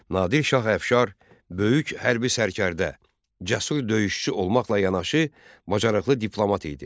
Nadir Şah Əfşar böyük hərbi sərkərdə, cəsur döyüşçü olmaqla yanaşı, bacarıqlı diplomat idi.